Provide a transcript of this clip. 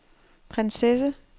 prinsesse